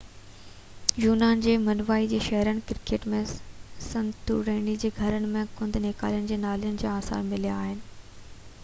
يونان جي منوائي جي شهرن ڪريٽ ۽ سنتوريني جي گهرن ۾ گند نيڪالين جي نالين جا آثار مليا آهن